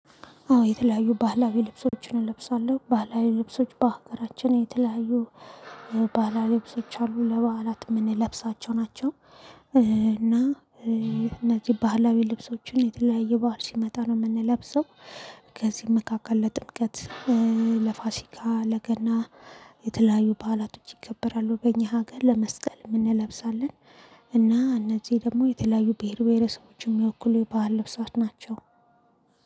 አዎ የተለያዩ ባህላዊ ልብሶችን እለብሳለሁ ባህላዊ ልብሶች በሀገራችን የተለያዩ ባህላዊ ልብሶች አሉ ለባህላት ምንለብሳቸው ናቸው። እና እነዚህ ባህላዊ ልብሶችን የተለያየ ባዓል ሲመጣ ነው የምንለብሰው። ከዚህም መካከል ለጥምቀት ለፋሲካ ለገና የተለያዩ ባህላቶች ይከበራሉ በእኛ ሀገር ለመስቀል እንለብሳለን። እና እነዚህ ደግሞ የተለያዩ ብሄር ብሄረሰቦችም የሚወክሉ ባህል ለብሳት ናቸው።